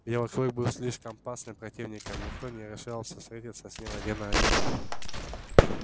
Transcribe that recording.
белый клык был слишком опасным противником и никто не решался встретиться с ним один на один